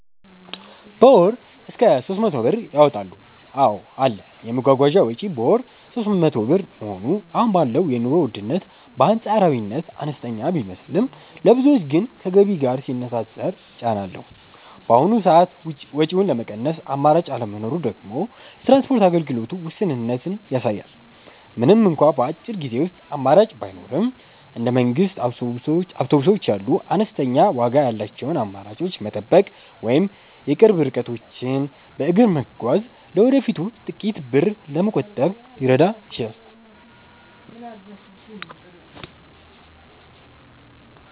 በ ወር እስከ 300 ብር ያወጣሉ ,አዎ አለ, የመጓጓዣ ወጪ በወር 300 ብር መሆኑ አሁን ባለው የኑሮ ውድነት በአንፃራዊነት አነስተኛ ቢመስልም፣ ለብዙዎች ግን ከገቢ ጋር ሲነፃፀር ጫና አለው። በአሁኑ ሰዓት ወጪውን ለመቀነስ አማራጭ አለመኖሩ ደግሞ የትራንስፖርት አገልግሎቱ ውስንነትን ያሳያል። ምንም እንኳን በአጭር ጊዜ ውስጥ አማራጭ ባይኖርም፣ እንደ መንግስት አውቶቡሶች ያሉ አነስተኛ ዋጋ ያላቸውን አማራጮች መጠበቅ ወይም የቅርብ ርቀቶችን በእግር መጓዝ ለወደፊቱ ጥቂት ብር ለመቆጠብ ሊረዳ ይችላል።